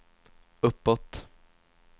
uppåt